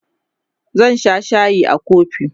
zan Sha shayi a kofi